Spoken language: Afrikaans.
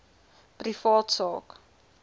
privaat sak